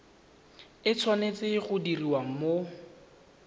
e tshwanetse go diriwa mo